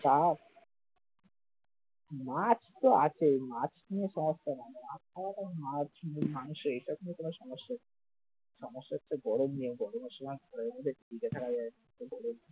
মাছতো আছেই, মাছ নিয়ে সমস্যা নাই মাছ খাওয়াটা মাছ বা মাংস এটার জন্য কোনো সমস্যাই না সমস্যা হচ্ছে গরম নিয়ে গরমের সময়